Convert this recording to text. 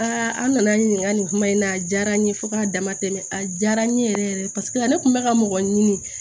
an nana n ɲininka nin kuma in na a diyara n ye fo k'a dama tɛmɛ a diyara n ye yɛrɛ yɛrɛ paseke ne tun bɛ ka mɔgɔ ɲini